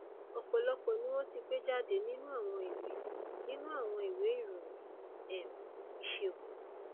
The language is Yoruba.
ọpọlọpọ ni wọn ti gbé jáde nínú àwọn ìwé nínú àwọn ìwé ìròyìn um ìṣègùn